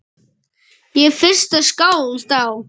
Ég er fyrsta skáld á